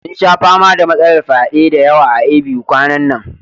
Sun sha fama da matsalar fyade da yawa a A.B.U kwanan nan